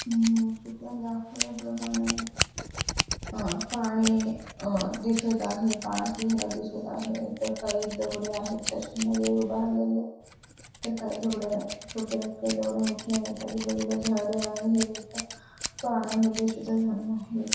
हम् चित्रात दाखवल्याप्रमाणे अं पाणी अं दिसत आहे. पाण्याचा झरा दिसत आहे तर काही दगडे आहेत त्याच्यामध्ये उभारलेल्या तर काही दगड छोट्या आहेत. तर काही दगड मोठे आहेत. आजूबाजूला झाडं आहेत पाण्यामध्ये सुद्धा झाडं आहेत.